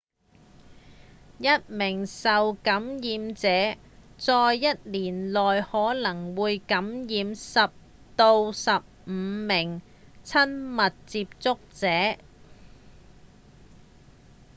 一名受感染者在一年內可能會感染10到15名親密接觸者